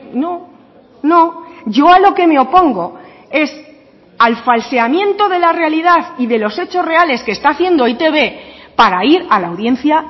no no yo a lo que me opongo es al falseamiento de la realidad y de los hechos reales que está haciendo e i te be para ir a la audiencia